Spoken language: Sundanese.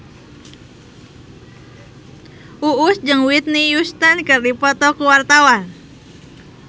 Uus jeung Whitney Houston keur dipoto ku wartawan